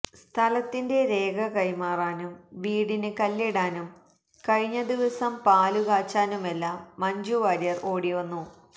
സ്ഥലത്തിന്റെ രേഖ കൈമാറാനും വീടിന് കല്ലിടാനും കഴിഞ്ഞ ദിവസം പാലുകാച്ചാനുമെല്ലാം മഞ്ജുവാര്യർ ഓടിവന്നു